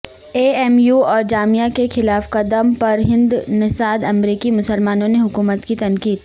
اے M U اور جامعہ کے خلاف قدم پر ہندنژادامریکی مسلمانوں نے حکومت کی تنقید